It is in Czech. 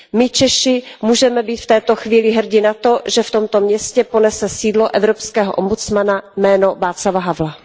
My, Češi, můžeme být v této chvíli hrdi na to, že v tomto městě ponese sídlo evropského ombudsmana jméno Václava Havla.